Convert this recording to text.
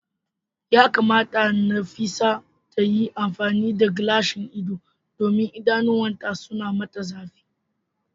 yakamata Nafisat ta yi amfani da gilashin ido domin idanuwanta suna mata zafi.